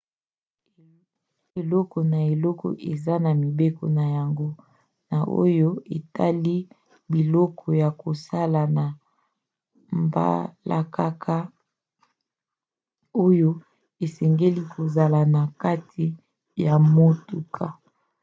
ekolo na ekolo eza na mibeko na yango na oyo etali biloko ya kosalela na mbalakaka oyo esengeli kozala na kati ya motuka